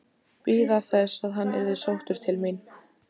Bíða þess að hann yrði sóttur til mín?